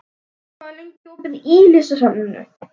Ástrós, hvað er lengi opið í Listasafninu?